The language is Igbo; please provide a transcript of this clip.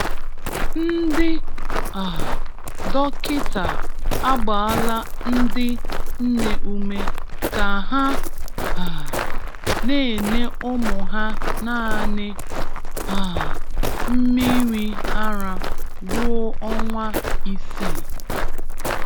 Ndị um dọkịta agbaala ndị nne ume ka ha um na-enye ụmụ ha naanị um mmiri ara ruo ọnwa isii